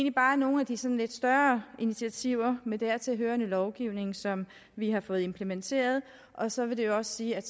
er bare nogle af de sådan lidt større initiativer med dertil hørende lovgivning som vi har fået implementeret og så vil det jo også sige at